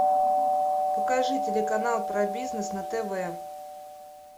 покажи телеканал про бизнес на тв